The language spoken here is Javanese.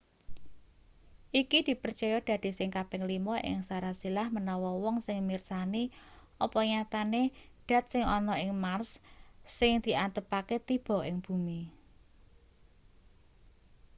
iki dipercaya dadi sing kaping lima ing sarasilah manawa wong wis mirsani apa nyatane dat sing ana ing mars sing diantepake tiba ing bumi